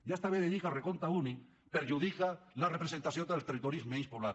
ja està bé de dir que el recompte únic perjudica la representació dels territoris menys poblats